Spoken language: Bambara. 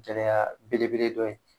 Gɛlɛya belebele dɔ ye.